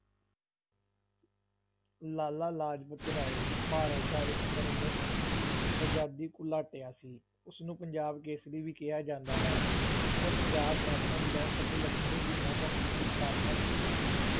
ਲਾਲਾ ਲਾਜਪਤ ਰਾਏ ਭਾਰਤ ਦਾ ਇੱਕ ਪ੍ਰਮੁੱਖ ਅਜ਼ਾਦੀ ਘੁਲਾਟੀਆ ਸੀ, ਉਸ ਨੂੰ ਪੰਜਾਬ ਕੇਸਰੀ ਵੀ ਕਿਹਾ ਜਾਂਦਾ ਹੈ, ਉਸ ਨੇ ਪੰਜਾਬ ਨੈਸ਼ਨਲ ਬੈਂਕ ਅਤੇ ਲਕਸ਼ਮੀ ਬੀਮਾ company ਦੀ ਸਥਾਪਨਾ ਕੀਤੀ ਸੀ।